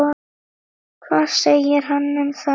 Hvað segir hann um það?